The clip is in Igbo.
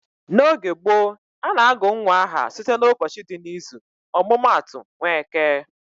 N'oge gboo, a na-agụ nwa aha site n'ụbọchị dị n'izu. Ọmụma atụ, Nweke